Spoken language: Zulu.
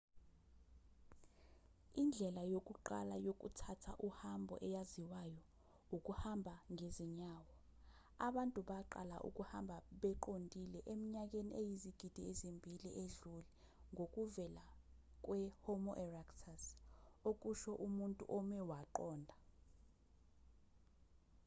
indlela yokuqala yokuthatha uhambo eyaziwayo ukuhamba ngezinyawo abantu baqala ukuhamba beqondile eminyakeni eyizigidi ezimbili edlule ngokuvela kwe-homo erectus okusho umuntu ome waqonda